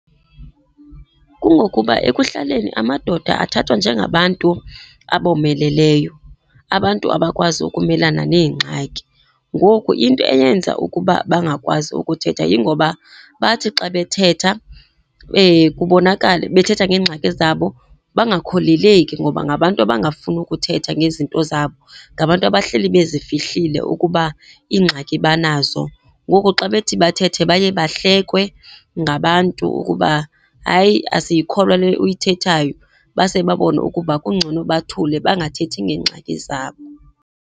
Kungokuba ekuhlaleni amadoda athathwa njengabantu abomeleleyo, abantu abakwazi ukumelana neengxaki. Ngoku into eyenza ukuba bangakwazi ukuthetha yingoba bathi xa bethetha kubonakale, bethetha ngeengxaki zabo bangakholeleki ngoba ngabantu abangafuni ukuthetha ngezinto zabo. Ngabantu abahleli bezifihlile ukuba iingxaki banazo. Ngoku xa bethi bathethe baye bahlekwe ngabantu ukuba, hayi, asiyikholwa le uyithethayo, base babone ukuba kungcono bathule, bangathethi ngeengxaki zabo.